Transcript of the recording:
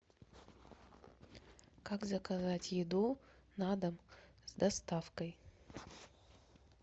как заказать еду на дом с доставкой